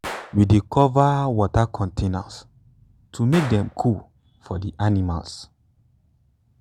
we dey cover water containers to make dem cool for di animals.